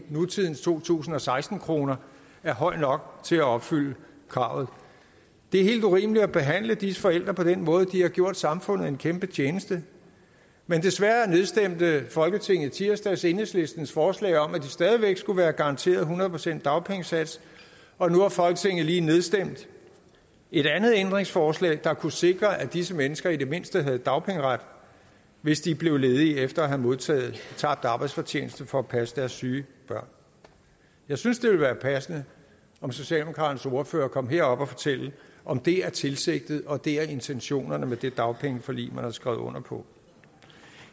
to tusind og seksten kroner er høj nok til at opfylde kravet det er helt urimeligt at behandle disse forældre på den måde de har gjort samfundet en kæmpe tjeneste men desværre nedstemte folketinget i tirsdags enhedslistens forslag om at de stadig væk skulle være garanteret hundrede procent dagpengesats og nu har folketinget lige nedstemt et andet ændringsforslag der kunne sikre at disse mennesker i det mindste havde dagpengeret hvis de blev ledige efter at have modtaget tabt arbejdsfortjeneste for at passe deres syge børn jeg synes det ville være passende om socialdemokraternes ordfører kom herop og fortalte om det er tilsigtet og det er intentionerne med det dagpengeforlig man har skrevet under på